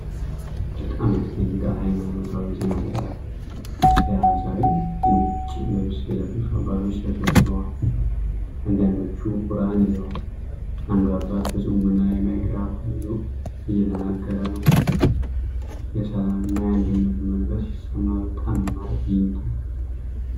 በጣም ያስደንቃል! ሃይማኖታዊ ሥነ ሥርዓት ሲያሳይ! ነጭ ልብስ የለበሱ አባቶች ተሰብስበዋል። አንዳንዶቹ ቁርኣን ይዘዋል። አንዱ አባት በፅሞና ማይክሮፎን ይዞ እየናገር ነው። የሰላም እና የአንድነት መንፈስ ይሰማል። በጣም ያማረ ትዕይንት ነው!